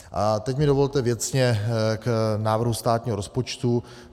A teď mi dovolte věcně k návrhu státního rozpočtu.